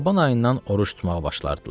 Şaban ayından oruc tutmağa başlardılar.